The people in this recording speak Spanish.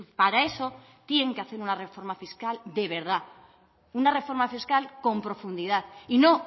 para eso tienen que hacer una reforma fiscal de verdad una reforma fiscal con profundidad y no